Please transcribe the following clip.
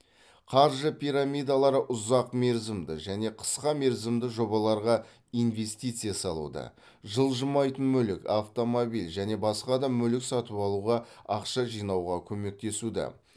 қаржы пирамидалары ұзақ мерзімді және қысқа мерзімді жобаларға инвестиция салуды жылжымайтын мүлік автомобиль және басқа да мүлік сатып алуға ақша жинауға көмектесуді